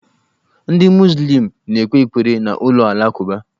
Ndị muzlịm na-ekpe ekpere na ụlọ alakụba.